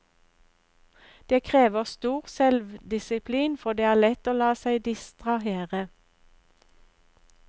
Det krever stor selvdisiplin, for det er lett å la seg distrahere.